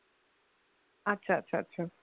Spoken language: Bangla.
আচ্ছা আচ্ছা আচ্ছা